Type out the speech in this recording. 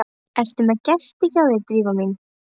Ertu með gest hjá þér, Drífa mín?